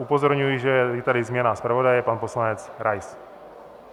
Upozorňuji, že je tady změna zpravodaje, pan poslanec Rais.